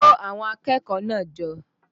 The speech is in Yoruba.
Kó àwọn akẹ́kọ̀ọ́ náà jọ!